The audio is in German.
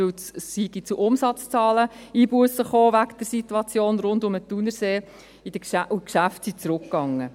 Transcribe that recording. Es sei wegen der Situation rund um den Thunersee zu Umsatzzahleneinbussen gekommen, und die Geschäfte seien zurückgegangen.